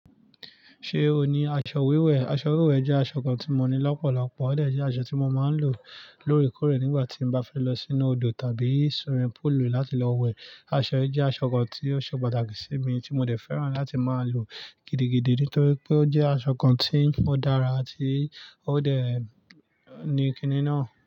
Ṣé o ní aṣọ wíwẹ̀? Aṣọ wíwẹ̀ jẹ́ aṣọ kan tí mo ní lọ́pọ̀lọpọ̀, ó dẹ̀ jẹ́ aṣọ tí mo máa ń lò lórèkórè nígbà tí mo bá fẹ́ lọ sínú odò tàbí swimming pool láti lọ wẹ̀. Aṣọ yìí jẹ́ aṣọ kan tí ó ṣe pàtàkì sí mi, tí mo dẹ̀ fẹ́ràn láti máa lò gidigidi nítorí pé ó jẹ́ aṣọ kan tí ó dára ti ó dẹ̀ ní kiní náà.